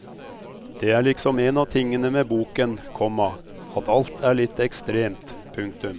Det er liksom en av tingene med boken, komma at alt er litt ekstremt. punktum